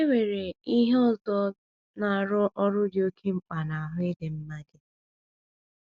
E nwere ihe ọzọ na - arụ ọrụ dị oké mkpa n’ahụ́ ịdị mma gị.